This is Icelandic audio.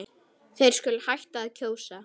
Þeir skuli hætta að kjósa.